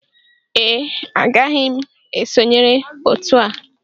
Ee agaghị m esonyere otu a